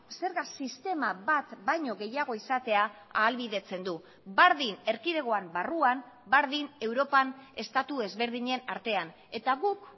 zerga sistema bat baino gehiago izatea ahalbidetzen du berdin erkidegoan barruan berdin europan estatu ezberdinen artean eta guk